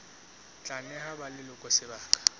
tla neha ba leloko sebaka